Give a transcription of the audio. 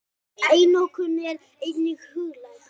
Einokun er einnig huglæg.